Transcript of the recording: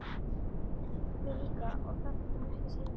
Mig líka og það þótti mér ekki sanngjarnt.